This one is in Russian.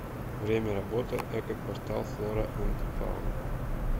время работы эко квартал флора энд фауна